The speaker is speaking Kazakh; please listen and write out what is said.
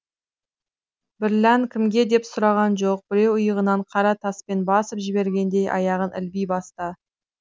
бірлән кімге деп сұраған жоқ біреу иығынан қара таспен басып жібергендей аяғын ілби басты